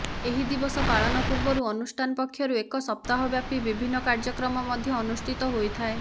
ଏହି ଦିବସ ପାଳନ ପୂର୍ବରୁ ଅନୁଷ୍ଠାନ ପକ୍ଷରୁ ଏକ ସପ୍ତାହ ବ୍ୟାପୀ ବିଭିନ୍ନ କାର୍ଯ୍ୟକ୍ରମ ମଧ୍ୟ ଅନୁଷ୍ଠିତ ହୋଇଥାଏ